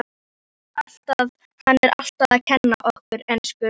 Hann er alltaf að kenna okkur ensku!